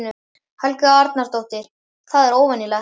Helga Arnardóttir: Það er óvenjulegt?